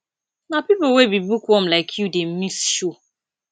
na pipo wey be bookworm like you dey miss show